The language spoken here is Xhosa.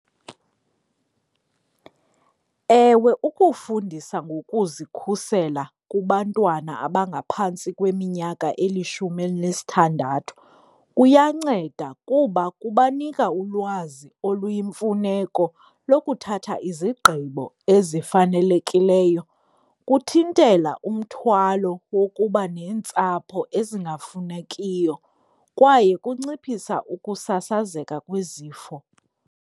Ewe, ukufundisa ngokuzikhusela kubantwana abangaphantsi kweminyaka elishumi elinesithandathu kuyanceda kuba kubanika ulwazi oluyimfuneko lokuthatha izigqibo ezifanelekileyo. Kuthintela umthwalo wokuba neentsapho ezingafunekiyo kwaye kunciphisa ukusasazeka kwezifo.